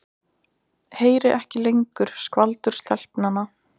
Heyri ekki lengur skvaldur stelpnanna.